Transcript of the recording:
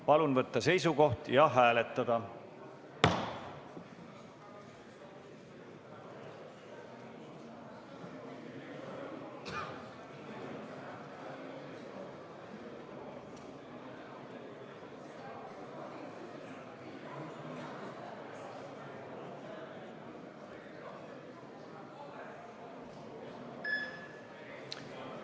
Palun võtta seisukoht ja hääletada!